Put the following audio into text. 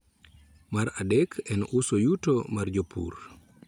Mar adek en uso yuto mar jopur